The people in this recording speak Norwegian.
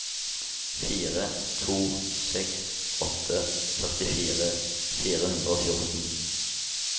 fire to seks åtte førtifire fire hundre og fjorten